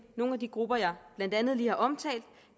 nogle af de grupper jeg blandt andet lige har omtalt